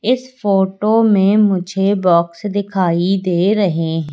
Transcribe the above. इस फोटो में मुझे बॉक्स दिखाइ दे रहे--